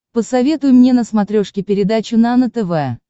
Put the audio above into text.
посоветуй мне на смотрешке передачу нано тв